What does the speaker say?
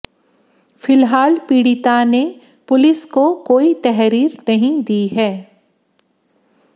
फिलहाल पीड़िता ने पुलिस को कोई तहरीर नहीं दी है